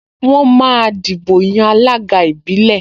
Wọ́n máa dìbò yan alága ìbílẹ̀